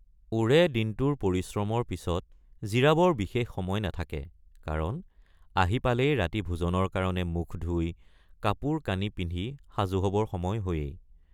ওৰেও দিনটোৰ পৰিশ্ৰমৰ পিচত জিৰাবৰ বিশেষ সময় নাথাকে কাৰণ আহি পালেই ৰাতি ভোজনৰ কাৰণে মুখ ধুই কাপোৰকানি পিন্ধি সাজু হবৰ সময় হয়েই।